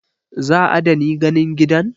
Zaa dani ganin gidan?